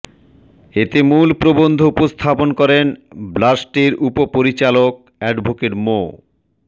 এতে মূল প্রবন্ধ উপস্থাপন করেন ব্লাষ্টের উপপরিচালক অ্যাডভোকেট মো